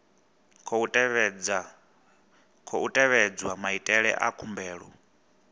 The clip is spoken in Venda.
khou tevhedzwa maitele a khumbelo